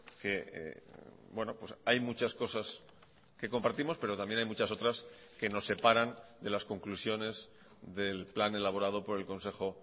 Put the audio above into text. que hay muchas cosas que compartimos pero también hay muchas otras que nos separan de las conclusiones del plan elaborado por el consejo